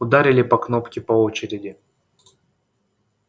ударили по кнопке по очереди